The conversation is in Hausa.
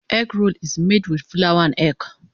Egg roll is made with flour and egg.